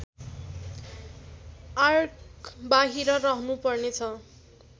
आर्कबाहिर रहनुपर्नेछ